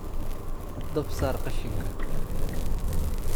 Dab saar qashinka